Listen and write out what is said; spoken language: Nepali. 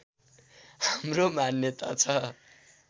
हाम्रो मान्यता छ